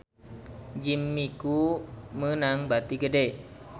Jimmy Coo meunang bati gede